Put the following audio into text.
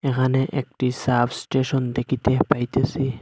এখানে একটি সাবস্টেশন দেখিতে পাইতেসি।